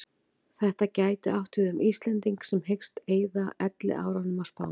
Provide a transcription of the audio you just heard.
Þetta gæti átt við um Íslending sem hyggst eyða elliárunum á Spáni.